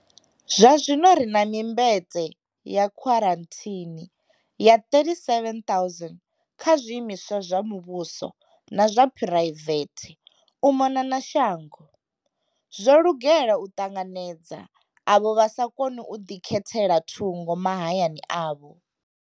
Zwazwino ri na mimbete ya khwarathini ya 37,000 kha zwiimiswa zwa muvhuso na zwa phuraivethe u mona na shango, zwo lugela u ṱanganedza avho vha sa koni u ḓikhethela thungo mahayani avho.